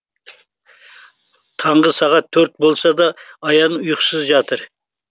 таңғы сағат төрт болса да аян ұйқысыз жатыр